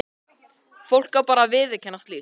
Fólk á bara ekki að viðurkenna slíkt.